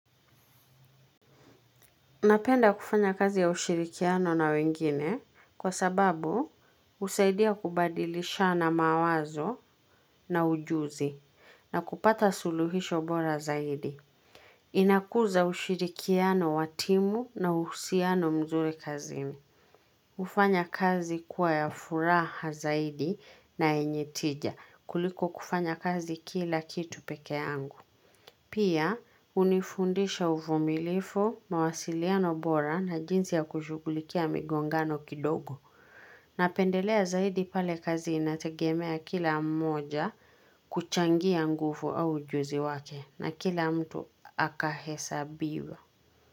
Napenda kufanya kazi ya ushirikiano na wengine kwa sababu husaidia kubadilishana mawazo na ujuzi na kupata suluhisho bora zaidi. Inakuza ushirikiano wa timu na uhusiano mzuri kazini. Ufanya kazi kuwa ya furaha zaidi na yenye tija kuliko kufanya kazi kila kitu pekeangu. Pia, hunifundisha uvumilifu, mawasiliano bora na jinsi ya kushugulikia migongano kidogo, na pendelea zaidi pale kazi inategemea kila mmoja kuchangia nguvu au ujuzi wake, na kila mtu akahesa biwa.